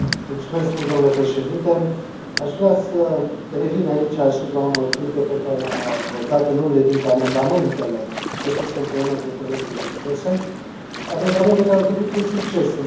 Aș vrea să revin aici asupra unor puncte pe care le am abordat în unele dintre amendamentele depuse împreună cu colegul Bernd Posselt, amendamente care au trecut cu succes în Comisia pentru afaceri externe.